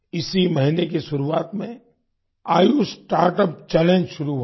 इसी महीने की शुरुआत में आयुष स्टार्टअप चैलेंज शुरू हुआ था